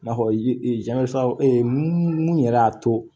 I n'a fɔ mun yɛrɛ y'a to